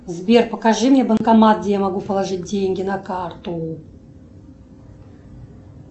сбер покажи мне банкомат где я могу положить деньги на карту